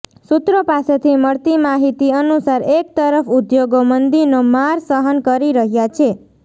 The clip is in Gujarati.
સુત્રો પાસેથી મળતી માહીતી અનુસાર એક તરફ ઉદ્યોગો મંદીનો માર સહન કરી રહ્યા છે